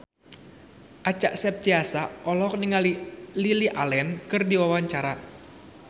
Acha Septriasa olohok ningali Lily Allen keur diwawancara